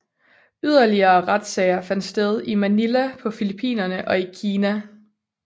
Yderligere retssager fandt sted i Manila på Filippinerne og i Kina